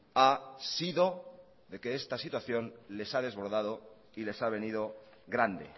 ha sido de que esta situación les ha desbordado y les ha venido grande